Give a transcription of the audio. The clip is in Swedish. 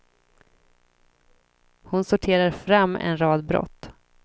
Hon sorterar fram en rad brott.